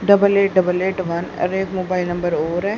Double eight double eight one और एक mobile number और है।